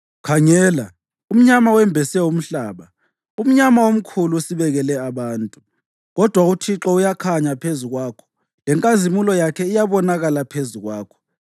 Khangela, umnyama wembese umhlaba, umnyama omkhulu usibekele abantu. Kodwa uThixo uyakhanya phezu kwakho lenkazimulo yakhe iyabonakala phezu kwakho.